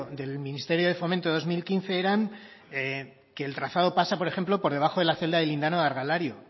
del ministerio de fomento de dos mil quince eran que el trazado pasa por ejemplo por debajo de la celda de lindane de argalario